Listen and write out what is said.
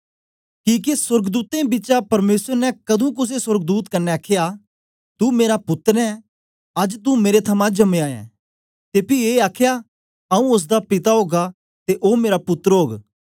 किके सोर्गदूतें बिचा परमेसर ने कदुं कुसे सोर्गदूत कन्ने आखया तू मेरा पुत्तर ऐं अज्ज तू मेरे थमां जमया ऐ ते पी ए आखया आऊँ ओसदा पिता ओगा ते ओ मेरा पुत्तर ओग